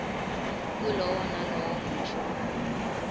kulowo nalowo musho